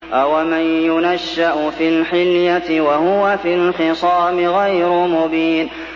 أَوَمَن يُنَشَّأُ فِي الْحِلْيَةِ وَهُوَ فِي الْخِصَامِ غَيْرُ مُبِينٍ